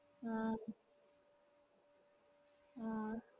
ആഹ് ആഹ്